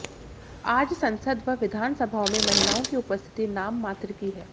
आज संसद व विधानसभाओं में महिलाओं की उपस्थिति नाम मात्र की है